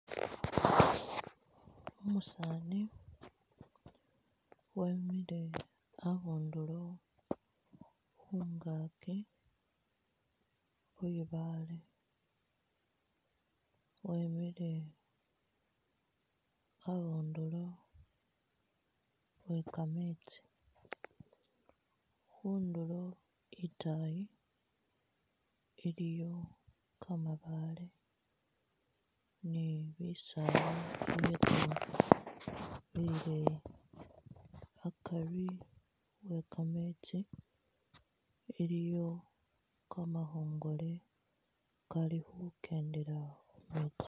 Umusaani wemile abundulo khungaaki khwibaale wemile abundulo we kameetsi, khundulo itaayi iliyo kamabaale ni bisaala ibyetsoowa bileyi ,akari we kameetsi iliyo kamakhongole kali khukendela khumeetsi